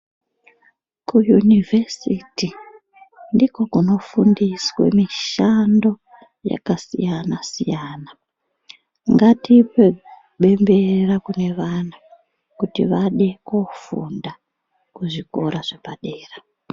Ku university ndiko kunofundiswe mishando yakasiyana siyana. Ngatipe bembera kune vana kuti vade kufunda kuzvikora zvepadera.